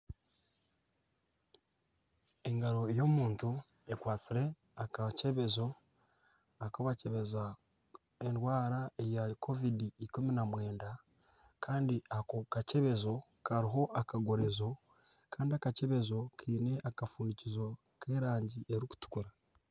Engaro y'omuntu ekwasire akakyebezo akubakyebeza endwara eya covid19 Kandi ako kakyebezo kariho akagorozo kandi akakyebezo kiine akafundikizo kerangi erikutukura